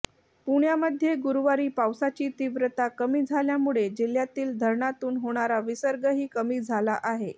पुण्यामध्ये गुरुवारी पावसाची तीव्रता कमी झाल्यामुळे जिल्ह्यातील धरणांतून होणारा विसर्गही कमी झाला आहे